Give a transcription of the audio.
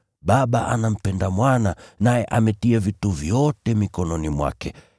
Baba anampenda Mwana, naye ametia vitu vyote mikononi mwake.